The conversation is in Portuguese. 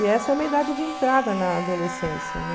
E essa é uma idade de entrada na adolescência, né?